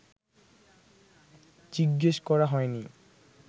জিজ্ঞেস করা হয়নি